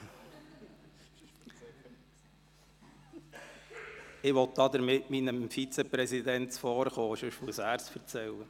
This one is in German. Damit will ich meinem Vizepräsidenten zuvorkommen, sonst muss er es erzählen.